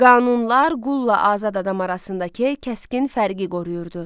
Qanunlar qulla azad adam arasındakı kəskin fərqi qoruyurdu.